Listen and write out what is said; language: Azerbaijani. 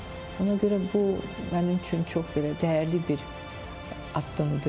Ona görə bu mənim üçün çox belə dəyərli bir addımdır.